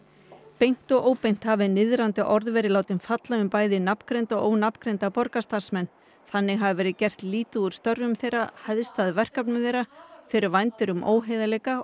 beint og óbeint hafi niðrandi orð verið látin falla um bæði nafngreinda og ónafngreinda borgarstarfsmenn þannig hafi verið gert lítið úr störfum þeirra hæðst að verkefnum þeirra þeir vændir um óheiðarleika